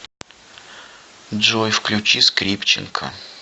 джой включи скрипченко